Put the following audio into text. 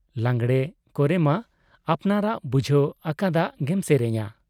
ᱞᱟᱜᱽᱬᱮ ᱠᱚᱨᱮᱢᱟ ᱟᱯᱱᱟᱨᱟᱜ ᱵᱩᱡᱷᱟᱹᱣ ᱟᱠᱟᱫᱟᱜ ᱜᱮᱢ ᱥᱮᱨᱮᱧᱟ ᱾